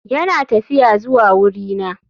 Yana tafiya zuwa wurina.